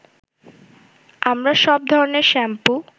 আমরা সব ধরনের শ্যাম্পু